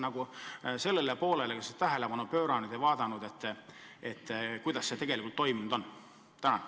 Kas te olete sellele poolele tähelepanu pööranud ja vaadanud, kuidas protsess tegelikult toimunud on?